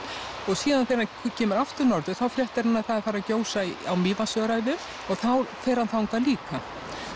síðan þegar hann kemur aftur norður þá fréttir hann að það er farið að gjósa á Mývatnsöræfum og þá fer hann þangað líka